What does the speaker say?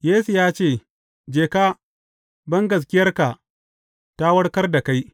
Yesu ya ce, Je ka, bangaskiyarka ta warkar da kai.